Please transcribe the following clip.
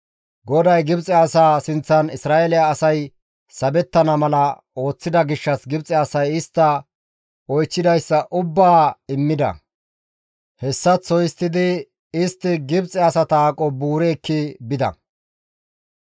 GODAY Gibxe asaa sinththan Isra7eele asay sabettana mala ooththida gishshas Gibxe asay istta oychchidayssa ubbaa immida. Hessaththo histtidi istta Gibxe asata aqo buuri ekki bida.